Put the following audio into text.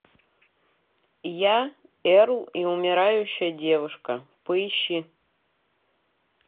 я эрл и умирающая девушка поищи